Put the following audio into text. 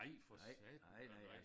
Nej for satan nej nej